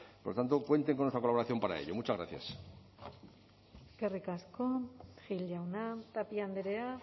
por tanto cuenten con nuestra colaboración para ello muchas gracias eskerrik asko gil jauna tapia andrea